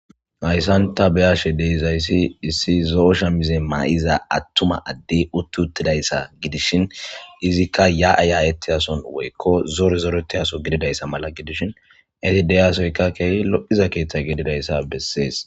hayssan ta beyashe deizayssi issi zo7osha mize ma7iza attuma addey uttutidayssa gidishin izikka ya7ayayetiyason woykko zore zoretiyaso gididayssa mala gidishin edideyasoyka keehi lo7hiza keeththe gedidayssa bessees